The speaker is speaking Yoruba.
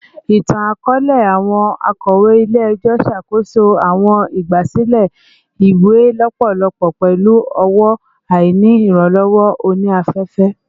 Itan-akọọlẹ, awọn akọwe ile-ẹjọ ṣakoso awọn igbasilẹ iwe lọpọlọpọ pẹlu ọwọ, aini iranlọwọ oni-afefe